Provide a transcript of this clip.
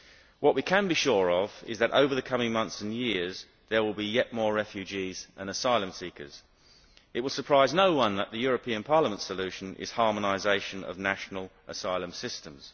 What we can be sure of is that over the coming months and years there will be yet more refugees and asylum seekers. It will surprise no one that the European Parliament solution is harmonisation of national asylum systems.